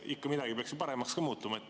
Ikka midagi peaks ju paremaks ka minema.